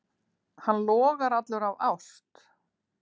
Hann logar allur af ást.